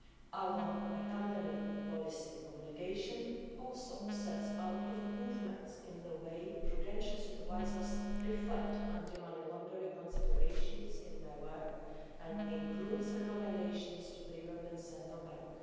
Our accompanying policy communication also sets out improvements in the way that prudential supervisors reflect anti-money laundering considerations in their work and includes recommendations to the European Central Bank.